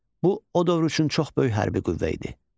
Bu o dövr üçün çox böyük hərbi qüvvə idi.